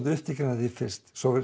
upptekinn af því fyrst svo